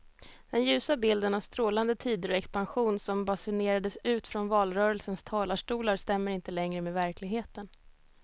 Den ljusa bilden av strålande tider och expansion som basunerades ut från valrörelsens talarstolar stämmer inte längre med verkligheten.